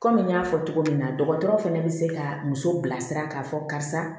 Kɔmi n y'a fɔ cogo min na dɔgɔtɔrɔ fɛnɛ bɛ se ka muso bilasira k'a fɔ karisa